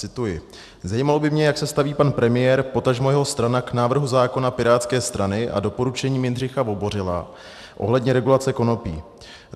Cituji: Zajímalo by mě, jak se staví pan premiér, potažmo jeho strana k návrhu zákona pirátské strany a doporučením Jindřicha Vobořila ohledně regulace konopí.